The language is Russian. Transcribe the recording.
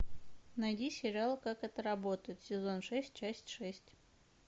найди сериал как это работает сезон шесть часть шесть